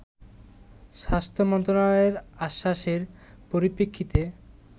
স্বাস্থ্য মন্ত্রনালয়ের আশ্বাসের পরিপ্রেক্ষিতে